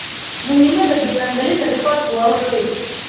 Muhiimadda diiwaangelinta rikoorku waa wax weyn.